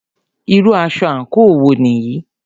Irú aṣọ àńkò wo nìyí?